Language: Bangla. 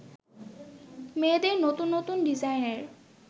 মেয়েদের নতুন নতুন ডিজাইনের